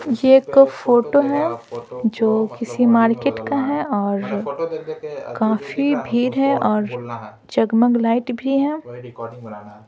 ये एक फोटो है जो किसी मार्केट का है और काफी भीड़ है और जग-मग लाइट भी है।